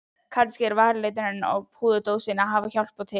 Kannski að varaliturinn og púðurdósin hafi hjálpað til.